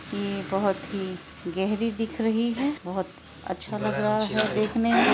यह बहुत ही गहरी दिख रही है और बहुत अच्छा लग रहा है देखने में।